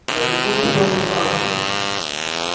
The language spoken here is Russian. на какую приёмную станцию